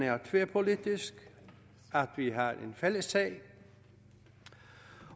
er tværpolitisk at vi har en fælles sag